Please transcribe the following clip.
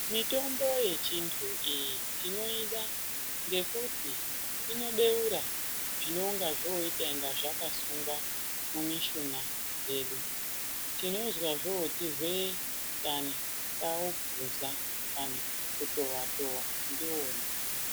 Mitombo yechintu iyi tinoida ngekuti inobeura zvinonga zvoita inga zvakasunga mumishuna dzedu tinozwa zvoti hweee kana taupuza kana kutowa towa ndiwona.